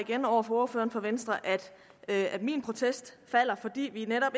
igen over for ordføreren for venstre at min protest falder fordi vi netop